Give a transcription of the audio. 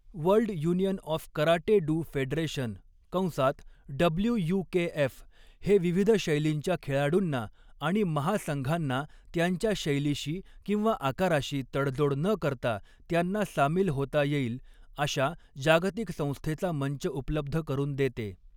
World union of karate do federation कंसात WUKF, हे विविध शैलींच्या खेळाडूंना आणि महासंघांना, त्यांच्या शैलीशी किंवा आकाराशी तडजोड न करता त्यांना सामील होता येईल, अशा जागतिक संस्थेचा मंच उपलब्ध करून देते.